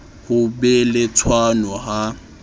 ho be le tshwano ha